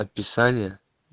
описание